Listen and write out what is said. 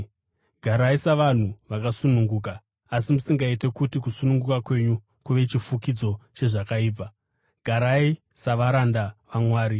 Garai savanhu vakasununguka, asi musingaiti kuti kusununguka kwenyu kuve chifukidzo chezvakaipa; garai savaranda vaMwari.